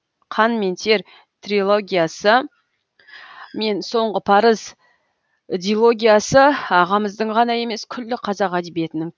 қан мен тер трилогиясы мен соңғы парыз дилогиясы ағамыздың ғана емес күллі қазақ әдебиетінің